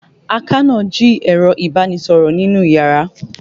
Àkànó jí ẹ̀rọ ìbánisọ̀rọ̀ mi nínú iyàrá.